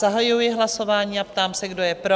Zahajuji hlasování a ptám se, kdo je pro?